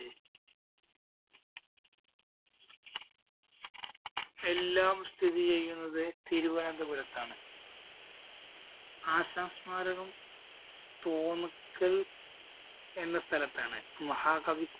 എല്ലാം സ്ഥിതിചെയ്യുന്നത് തിരുവനന്തപുരത്താണ്. ആശാന്‍ സ്മാരകം തോന്നക്കല്‍ എന്ന സ്ഥലത്താണ് മഹാകവി